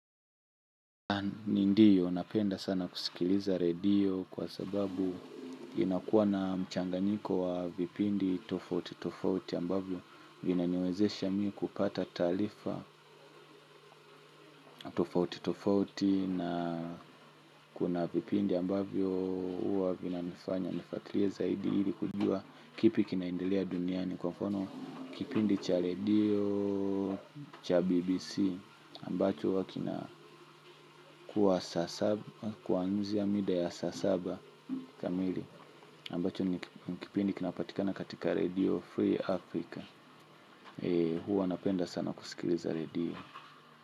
Ndiyo, napenda sana kusikiliza radio kwa sababu inakuwa na mchanganyiko wa vipindi tofauti tofauti ambavyo vinaniwezesha mi kupata taarifa tofauti tofauti na kuna vipindi ambavyo huwa vinanifanya nifuatilie zaidi ili kujua. Kipi kinaendelea duniani kwa mfano kipindi cha radio, cha BBC Ambacho wakina kuwa saa saba, kuwa nje ya mida ya saa saba kamili ambacho ni kipindi kinapatikana katika radio Free Africa. Huwa napenda sana kusikiliza radio.